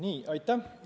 Aitäh!